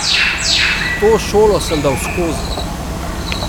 To šolo sem dal skozi.